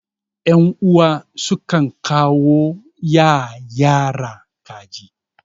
yan'uwa sukan kawo ya yara kaji